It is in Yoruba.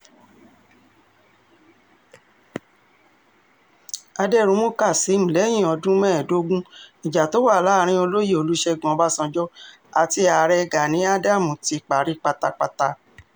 àdẹ̀rùnmú kazeem lẹ́yìn ọdún mẹ́ẹ̀dógún ìjà tó wà láàrin olóyè olùṣègùn ọbànjọ́ àti ààrẹ gani adams ti parí pátápátá